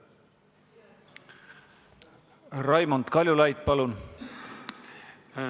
Raimond Kaljulaid, palun!